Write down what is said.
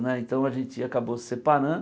Né então a gente acabou se separando.